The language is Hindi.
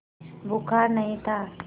बुखार नहीं था